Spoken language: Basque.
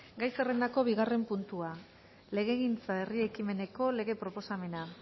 gai zerrendako bigarren puntua legegintzako herri ekimeneko lege proposamena